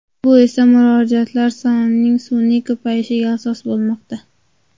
Bu esa murojaatlar sonining sun’iy ko‘payishiga asos bo‘lmoqda.